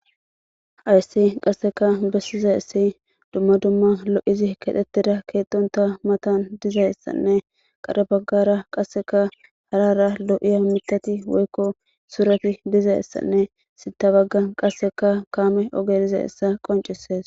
ayssi qasseka bessiza issi dumma dumma lo7izi kedhettida keetonta matan dizayssanne qadhabaggara qasseka harara lo7iya mitati woykko surati dizayessanne sitabaggan qasseka kaame oge diza issa qoncisees